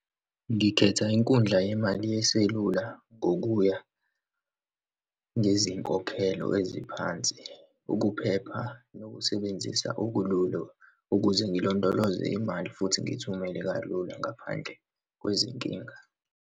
Ngikhetha inkundla yemali yeselula ngokuya ngezinkokhelo eziphansi, ukuphepha, nokusebenzisa okululu ukuze ngilondoloze imali, futhi ngiyithumele kalula ngaphandle kwezinkinga.